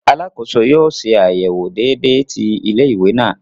Alàkóso yóò ṣe àyẹwò déédé ti ilé-ìwé náà